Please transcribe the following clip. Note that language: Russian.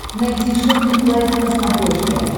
найти шоппинг лайф на смотрешке